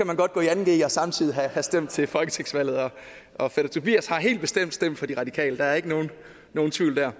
man godt gå i anden g og samtidig have stemt til folketingsvalget og fætter tobias har helt bestemt stemt på de radikale der er ikke nogen tvivl der